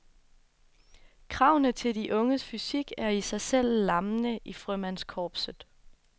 Kravene til de unges fysik er i sig selv lammende i frømandskorpset.